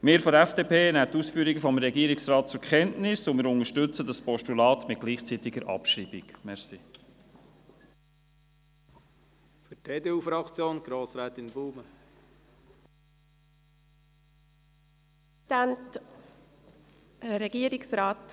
Die FDP nimmt die Ausführungen des Regierungsrates zur Kenntnis und unterstützt ein Postulat mit gleichzeitiger Abschreibung.